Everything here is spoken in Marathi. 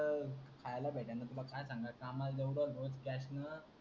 ह खायला भेटण तुम्हाला काय सांगायच काम आहे एवड